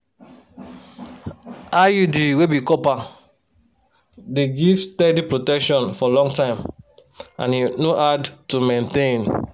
iud wey be copper dey give steady protection for long time and e no hard to maintain.